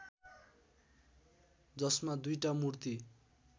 जसमा दुईटा मूर्ति